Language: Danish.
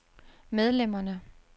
medlemmerne